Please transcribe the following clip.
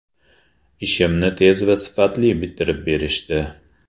Ishimni tez va sifatli bitirib berishdi!